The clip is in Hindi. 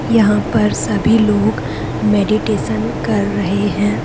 यहां पर सभी लोग मेडिटेशन कर रहे हैं।